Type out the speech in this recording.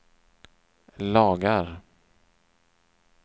lagar